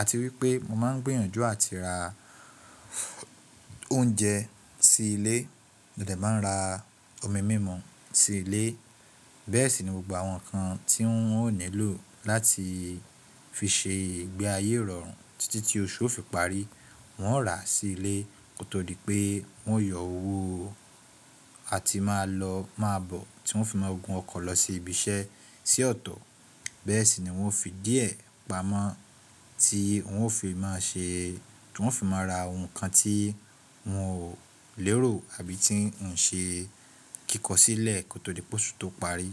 àti wípé mo máa ń gbìyànjú àti ra oúnjẹ sí ilé, mo dẹ̀ máa ń ra omi mímu sí ilé. Bẹ́ẹ̀ sì ni mo gba àwọn nǹkan tí wọn ó nílò láti fi ṣe ìgbé ayé rọrùn títí tí oṣù fi parí. Wọn ó rà á sí ilé kó tó di pé wọ́n yọ owó àti máa lọ, máa bọ̀ tí wọn fi máa ń gun ọkọ̀ lọ sí ibi iṣẹ́ sí ọ̀tọ̀. Bẹ́ẹ̀ sì ni wọ́n fi díẹ̀ pamọ́ tí wọ́n ó fi máa ṣe, tí wọ́n ó fi máa ra ohun kan tí wọn ò lérò àbí tí woǹ ṣe kíkọ sílẹ̀ kó tó di pé oṣù tó parí.